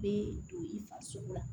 Bɛ don i farisogo la